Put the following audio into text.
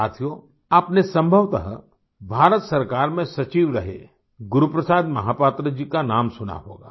साथियों आपने संभवतः भारत सरकार में सचिव रहे गुरु प्रसाद महापात्रा जी का नाम सुना होगा